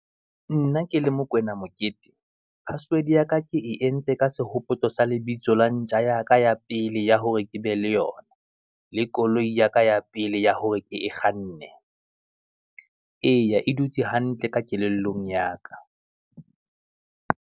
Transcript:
Nna ke le Mokoena Mokete, password ya ka ke e entse ka sehopotso sa lebitso la ntja ya ka ya pele ya hore ke be le yona, le koloi ya ka ya pele ya hore ke e kganne. Eya e dutse hantle ka kelellong ya ka.